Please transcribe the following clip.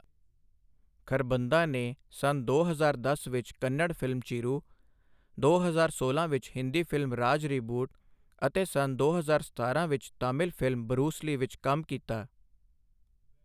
ਖਰਬੰਦਾ ਨੇ ਸੰਨ ਦੋ ਹਜ਼ਾਰ ਦਸ ਵਿੱਚ ਕੰਨੜ ਫ਼ਿਲਮ ਚਿਰੂ, ਦੋ ਹਜ਼ਾਰ ਸੋਲਾਂ ਵਿੱਚ ਹਿੰਦੀ ਫ਼ਿਲਮ ਰਾਜਃ ਰਿਬੂਟ ਅਤੇ ਸੰਨ ਦੋ ਹਜ਼ਾਰ ਸਤਾਰਾਂ ਵਿੱਚ ਤਾਮਿਲ ਫ਼ਿਲਮ ਬਰੂਸ ਲੀ ਵਿੱਚ ਕੰਮ ਕੀਤਾ।